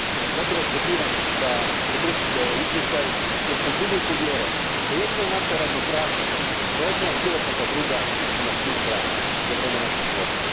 Zato vas pozivam da podržite ovo izvješće, jer sam duboko uvjeren da jedino naša ravnopravnost, rodna i bilo kakva druga ima smisla za vrijeme našeg života.